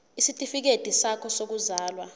isitifikedi sakho sokuzalwa